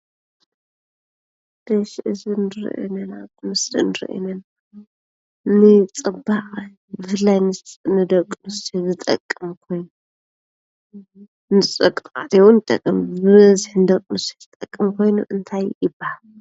እዚ ንረኦ ዘለና ምስሊ እዚ ንፅባቀ ብፍላይ ንደቂ ኣንስትዮ ዝጠቅም ኮይኑ ንደቂ ተባዕትዮ እውን ይጠቅም ።በብዝሒ ንደቂ ተባዕትዮ እውን ይጠቅም ኮይኑ እንታይ ይበሃል ?